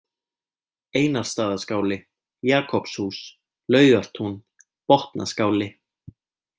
Einarsstaðaskáli, Jakobshús, Laugartún, Botnaskáli